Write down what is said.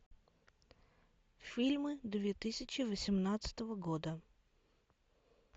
фильмы две тысячи восемнадцатого года